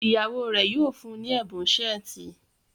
ìyàwó rẹ yíò fún ní Ẹbùn Ṣẹ́ẹ̀tì.